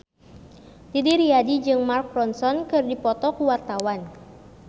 Didi Riyadi jeung Mark Ronson keur dipoto ku wartawan